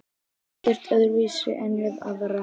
Ekkert öðruvísi en við aðra.